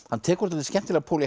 hann tekur dálítið skemmtilegan pól í